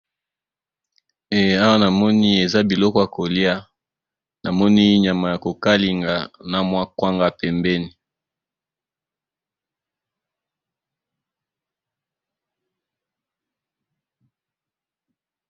Awa namoni eza biloko ya kolia ,namoni nyama ya ko kalinga na kwanga pembeni.